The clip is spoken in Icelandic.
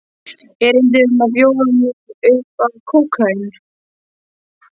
Erindið var að bjóða mér upp á kókaín.